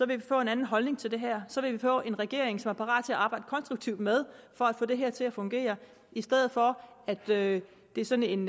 vi få en anden holdning til det her så vil vi få en regering som er parat til at arbejde konstruktivt med for at få det her til at fungere i stedet for at det er sådan en